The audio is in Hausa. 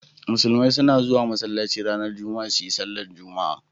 Musulmai suna zuwa masallaci ranar Juma'a su yi sallar jumu'a.